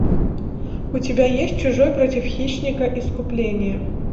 у тебя есть чужой против хищника искупление